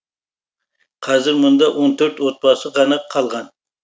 қазір мұнда он төрт отбасы ғана қалған